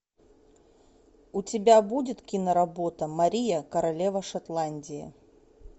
у тебя будет киноработа мария королева шотландии